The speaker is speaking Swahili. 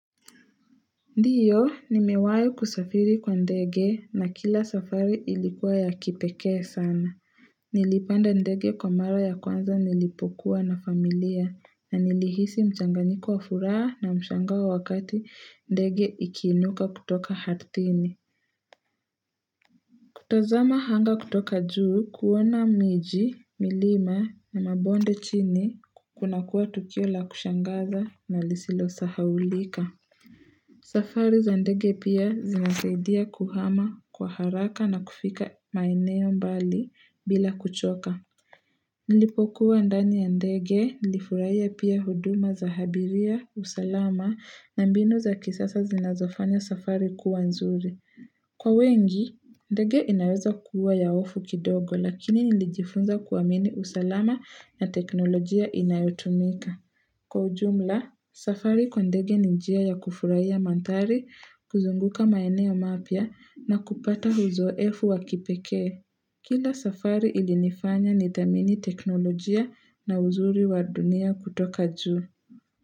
Ndiyo nimewahi kusafiri kwa ndege na kila safari ilikuwa ya kipekee sana. Nilipanda ndege kwa mara ya kwanza nilipokuwa na familia na nilihisi mchanganyiko wa furaha na mshangao wakati ndege ikiinuka kutoka ardhini. Kutazama hanga kutoka juu kuona miji, milima na mabonde chini kunakuwa tukio la kushangaza na lisilo sahaulika. Safari za ndege pia zinasaidia kuhama kwa haraka na kufika maeneo mbali bila kuchoka. Nilipokuwa ndani ya ndege nilifurahia pia huduma za habiria, usalama na mbinu za kisasa zinazofanya safari kuwa nzuri. Kwa wengi, ndege inaweza kuwa ya hofu kidogo lakini nilijifunza kuamini usalama na teknolojia inayotumika. Kwa ujumla, safari kwa ndege ni njia ya kufurahia mandhari, kuzunguka maeneo mapya na kupata uzoefu wa kipekee. Kila safari ilinifanya nidhamini teknolojia na uzuri wa dunia kutoka juu.